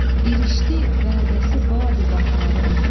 İrişdi vədəsi baadi baharın.